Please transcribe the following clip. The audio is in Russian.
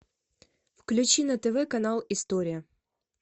включи на тв канал история